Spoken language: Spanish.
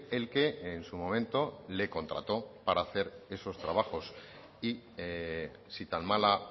el que en su momento le contrato para hacer esos trabajos y si tan mala